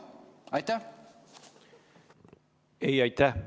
Ei, aitäh!